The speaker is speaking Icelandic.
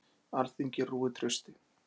Alþingi rúið trausti